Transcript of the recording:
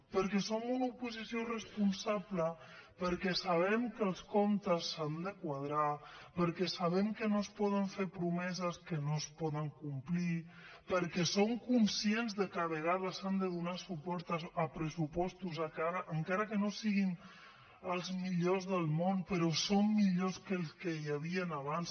perquè som una oposició responsable perquè sabem que els comptes s’han de quadrar perquè sabem que no es poden fer promeses que no es poden complir perquè som conscients de que a vegades s’ha de donar suport a pressupostos encara que no siguin els millors del món però són millors que els que hi havien abans